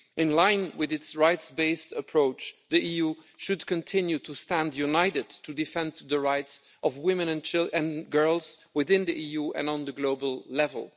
In line with its rights-based approach, the EU should continue to stand united to defend the rights of women and girls within the EU and at the global level.